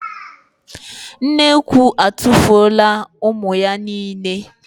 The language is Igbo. Nnekwu atụfuola ụmụ ya niile.